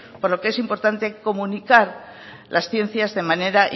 por lo que es importante comunicar las ciencias de manera